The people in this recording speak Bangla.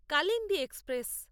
কালিন্দী এক্সপ্রেস